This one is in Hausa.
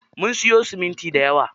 Mun siyo siminti dayawa.